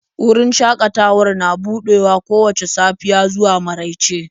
Wajen shakatawan yana buɗewa kowace rana daga safiya zuwa marauice